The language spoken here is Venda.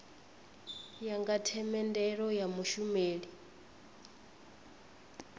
ya nga themendelo ya mushumeli